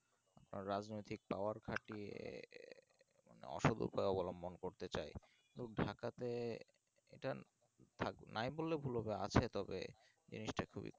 রাজনৈতিক power খাটিয়ে এর অসৎ উপায় অবলম্বন করতে চাই ঢাকা তে এটা নাই বললে ভুল হবে আছে তবে এই হচ্ছে